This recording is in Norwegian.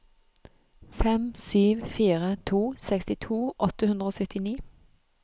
fem sju fire to sekstito åtte hundre og syttini